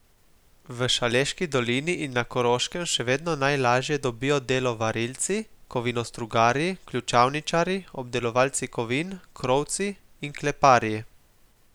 V Šaleški dolini in na Koroškem še vedno najlažje dobijo delo varilci, kovinostrugarji, ključavničarji, obdelovalci kovin, krovci in kleparji.